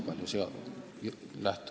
Lauri Luik, palun!